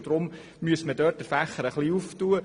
Darum müsste man den Fächer ein wenig öffnen.